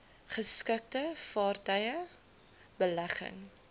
geskikte vaartuie belegging